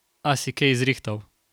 A si kej zrihtal?